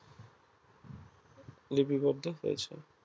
লিপিবদ্ধ হয়েছে